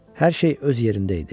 Hər şey öz yerində idi,